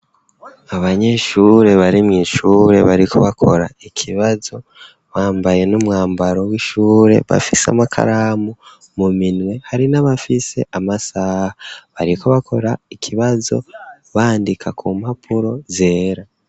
Abanyeshure barimw'isure bariko bakora ikibazo bambaye n'umwambaro w'ishure bafise amakaramu mu minwe hari n'abafise amasaha bariko bakora ikibazo bandika ku mpapuro zera.